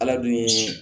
Ala dun ye